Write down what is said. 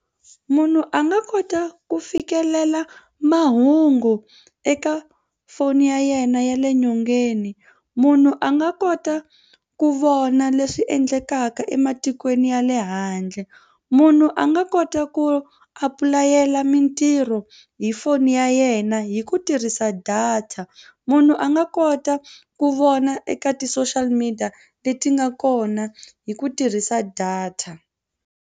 Munhu a nga kota ku fikelela mahungu eka foni ya yena ya le nyongeni. Munhu a nga kota ku vona leswi endlekaka ematikweni ya le handle. Munhu a nga kota ku apulayela mitirho hi foni ya yena hi ku tirhisa data. Munhu a nga kota ku vona eka ti-social media leti nga kona hi ku tirhisa data.